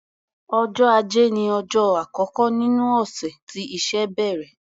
Ọjọ́ Ajé ní ọjọ́ àkọ́kọ́ nínú ọ̀sẹ̀ tí iṣẹ́ bẹ̀rẹ̀.